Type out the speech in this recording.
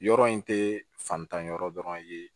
Yɔrɔ in tɛ fantan yɔrɔ dɔrɔn ye